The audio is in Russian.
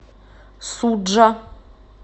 суджа